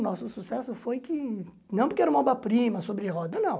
O nosso sucesso foi que, não porque era uma oba-prima, sobre roda, não.